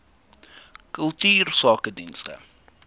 kultuursakedienste